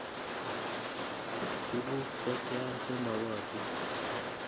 Tuguk che tia che mogotin?